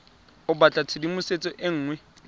o batla tshedimosetso e nngwe